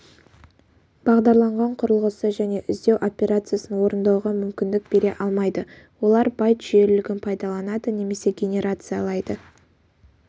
бағдарланған құрылғысы және іздеу операциясын орындауға мүмкіндік бере алмайды олар байт жүйелілігін пайдаланады немесе генерациялайды